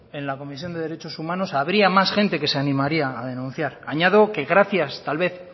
en la comisión de derechos humanos habría más gente que se animaría a denunciar añado que gracias tal vez